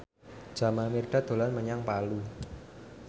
Jamal Mirdad dolan menyang Palu